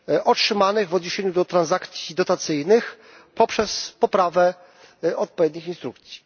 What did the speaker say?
otrzymanych w odniesieniu do transakcji dotacyjnych poprzez poprawę odpowiednich instrukcji.